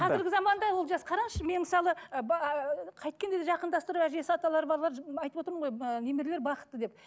қазіргі заманда олжас қараңызшы мен мысалы ыыы қайткенде де жақындастыру әжесі аталар барлар айтып отырмын ғой ыыы немерелер бақытты деп